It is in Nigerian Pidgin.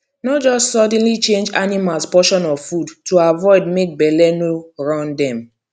no just suddenly change animals potion of food to avoid make belle no run dem